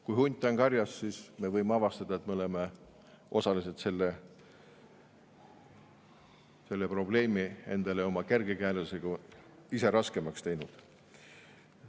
Kui hunt on karjas, siis me võime avastada, et me oleme osaliselt selle probleemi endale oma kergekäelisusega ise raskemaks teinud.